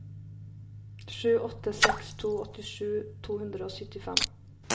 sju åtte seks to åttisju to hundre og syttifem